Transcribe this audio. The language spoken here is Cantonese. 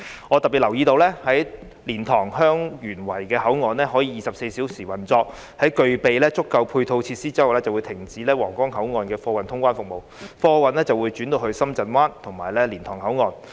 我留意到當蓮塘/香園圍口岸可以24小時運作，在具備足夠配套設施後，便會停止皇崗口岸的貨運通關服務，貨運會轉至深圳灣和蓮塘口岸。